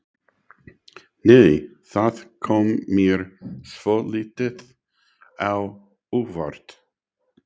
Nei! Það kom mér svolítið á óvart!